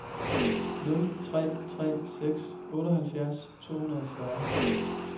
nul tre tre seks otteoghalvfjerds to hundrede og fyrre